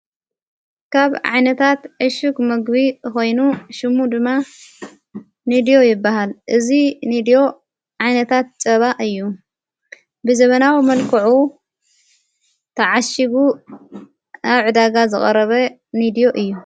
ካብ ዓዓነታት እሹግ መግቢ ኾይኑ ሹሙ ድማ ንድዩ ይበሃል እዙ ንድዩ ዓዒይነታት ጨባእ እዩ ብዘበናዊ መልክዑ ተዓሽጉ ኣዕ ዳጋ ዝቐረበ ኒድዩ እዩ።